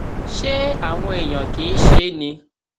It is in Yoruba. ṣé àwọn èèyàn kì í ṣe é ni